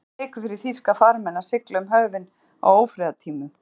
Það var enginn leikur fyrir þýska farmenn að sigla um höfin á ófriðartímum.